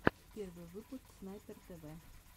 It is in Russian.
первый выпуск снайпер тв